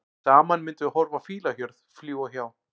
Saman myndum horfa á fílahjörð, fljúga hjá.